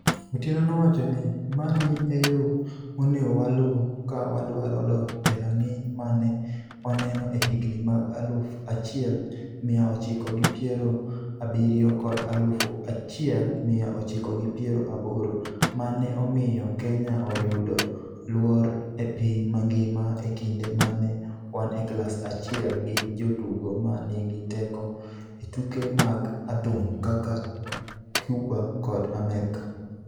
Otieno nowachoni, "Mani e yo monego waluw ka wadwaro dok e rang'iny ma ne waneno e higini mag aluf achiel mia ochiko gi piero abiriyo kod aluf achiel mia ochiko gi piero aboro ma ne omiyo Kenya oyudo luor e piny mangima e kinde ma ne wan e klas achiel gi jotugo ma nigi teko e tuke mag adhong' kaka Cuba kod Amerka.